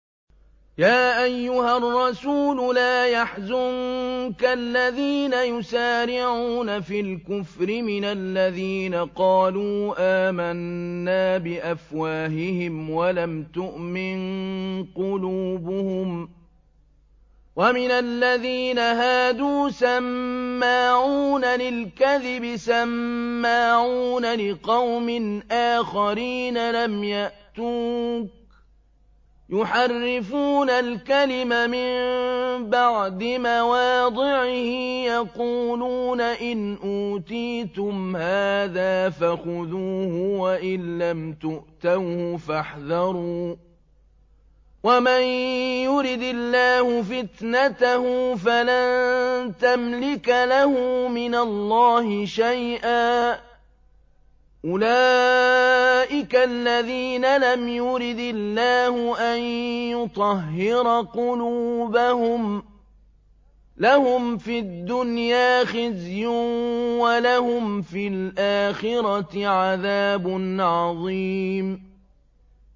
۞ يَا أَيُّهَا الرَّسُولُ لَا يَحْزُنكَ الَّذِينَ يُسَارِعُونَ فِي الْكُفْرِ مِنَ الَّذِينَ قَالُوا آمَنَّا بِأَفْوَاهِهِمْ وَلَمْ تُؤْمِن قُلُوبُهُمْ ۛ وَمِنَ الَّذِينَ هَادُوا ۛ سَمَّاعُونَ لِلْكَذِبِ سَمَّاعُونَ لِقَوْمٍ آخَرِينَ لَمْ يَأْتُوكَ ۖ يُحَرِّفُونَ الْكَلِمَ مِن بَعْدِ مَوَاضِعِهِ ۖ يَقُولُونَ إِنْ أُوتِيتُمْ هَٰذَا فَخُذُوهُ وَإِن لَّمْ تُؤْتَوْهُ فَاحْذَرُوا ۚ وَمَن يُرِدِ اللَّهُ فِتْنَتَهُ فَلَن تَمْلِكَ لَهُ مِنَ اللَّهِ شَيْئًا ۚ أُولَٰئِكَ الَّذِينَ لَمْ يُرِدِ اللَّهُ أَن يُطَهِّرَ قُلُوبَهُمْ ۚ لَهُمْ فِي الدُّنْيَا خِزْيٌ ۖ وَلَهُمْ فِي الْآخِرَةِ عَذَابٌ عَظِيمٌ